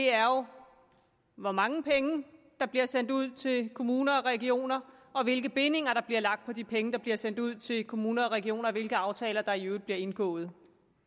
er jo hvor mange penge der bliver sendt ud til kommuner og regioner og hvilke bindinger der bliver lagt på de penge der bliver sendt ud til kommuner og regioner og hvilke aftaler der i øvrigt bliver indgået